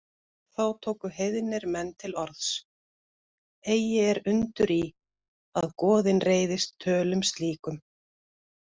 Þá tóku heiðnir menn til orðs: Eigi er undur í, að goðin reiðist tölum slíkum